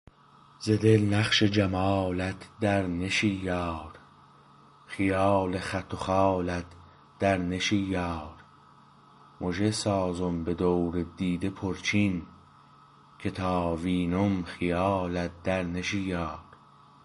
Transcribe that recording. ز دل نقش جمالت در نشی یار خیال خط و خالت در نشی یار مژه سازم به دور دیده پرچین که تا وینم خیالت در نشی یار